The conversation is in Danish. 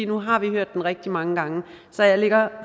nu har vi hørt det rigtig mange gange så jeg ligger